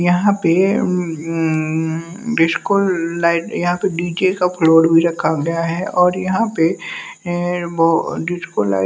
यहां पे अं डिस्को लाइट या फिर डी_जे का फ्लोर भी रखा गया है और यहां पे अं वो डिस्को लाइट --